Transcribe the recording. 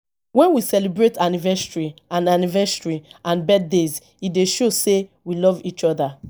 when we celebrate anniversary and anniversary and birthdays e dey show sey we love each oda